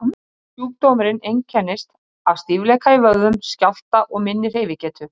En í yfirfærðri merkingu er slangan oft tákn syndarinnar og tákn um fall mannsins.